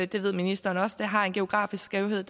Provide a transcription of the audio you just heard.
det ved ministeren også har en geografisk skævhed